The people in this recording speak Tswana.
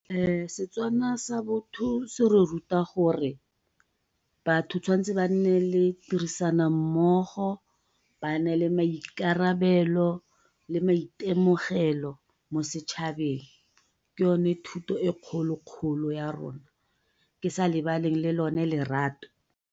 Setswana sa botho se re ruta gore batho ba tshwantse ba nale tirisanommogo ba nne le maikarabelo le maitemogelo mo setšhabeng ke yone thuto e kgolo-kgolo ya rona, ke sa lebale le lone lerato.